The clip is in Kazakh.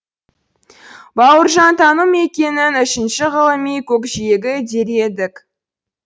бауыржантану мекеңнін үшінші ғылыми көкжиегі дер едік